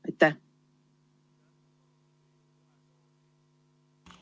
Aitäh!